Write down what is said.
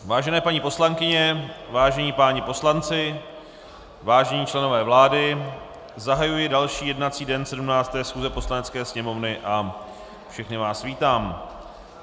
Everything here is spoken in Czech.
Vážené paní poslankyně, vážení páni poslanci, vážení členové vlády, zahajuji další jednací den 17. schůze Poslanecké sněmovny a všechny vás vítám.